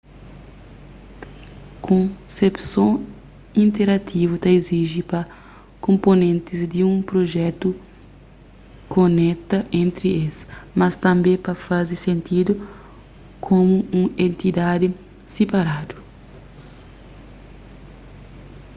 konsepson interativu ta iziji pa konponentis di un prujetu koneta entri es mas tanbê pa faze sentidu komu un entidadi siparadu